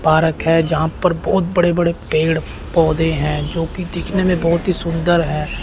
Park है। जहां पर बहोत बड़े-बड़े पेड़-पौधे हैं। जोकि दिखने में बहोत ही सुंदर हैं।